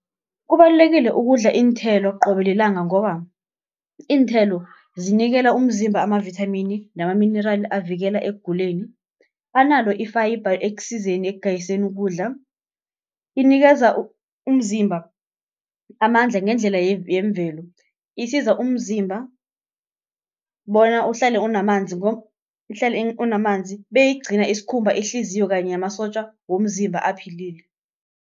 Kubalulekile ukudla iinthelo qobe lilanga ngoba, iinthelo zinikela umzimba ama-vithamini, namaminerali avikela ekuguleni. Analo i-fibre ekusizeni egayiseni ukudla, inikeza umzimba amandla ngendlela yemvelo. Isiza umzimba bona uhlale unamanzi, beyigcina isikhumba, ihliziyo kanye namasotja womzimba aphilile.